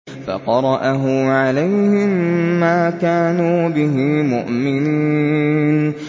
فَقَرَأَهُ عَلَيْهِم مَّا كَانُوا بِهِ مُؤْمِنِينَ